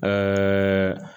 Ɛɛ